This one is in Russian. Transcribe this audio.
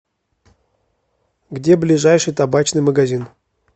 где ближайший табачный магазин